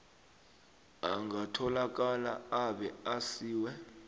angatholakala abe asiwe